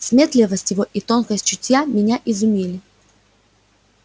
сметливость его и тонкость чутья меня изумили